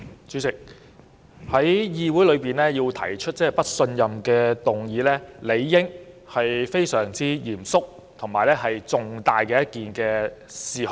主席，在議會提出"不信任"議案，理應是針對非常嚴肅及重大的事項。